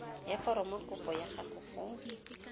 ya foromokopo ya gago go